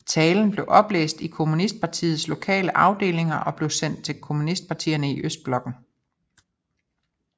Talen blev oplæst i kommunistpartiets lokale afdelinger og blev sendt til kommunistpartierne i Østblokken